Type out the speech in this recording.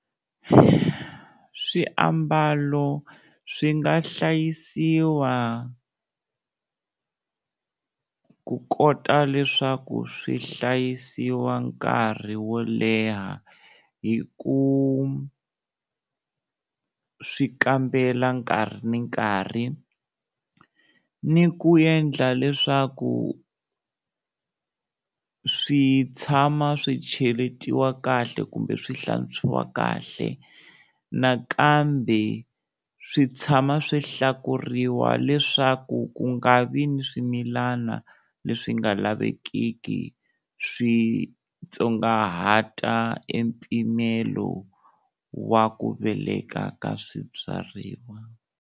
Swiambalo swi nga hlayisiwa ku kota leswaku swi hlayisiwa nkarhi wo leha hi ku swi kambela nkarhi ni nkarhi ni ku yendla leswaku swi tshama swi cheletiwa kahle kumbe swi hlantswiwa kahle, nakambe swi tshama swi hlakuriwa leswaku ku nga vi ni swimilana leswi nga lavekiki swi tsongahata e mpimelo wa ku veleka ka swibyariwa.